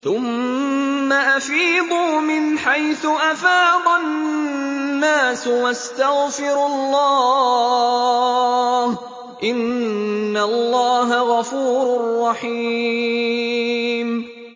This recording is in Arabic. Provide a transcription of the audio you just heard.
ثُمَّ أَفِيضُوا مِنْ حَيْثُ أَفَاضَ النَّاسُ وَاسْتَغْفِرُوا اللَّهَ ۚ إِنَّ اللَّهَ غَفُورٌ رَّحِيمٌ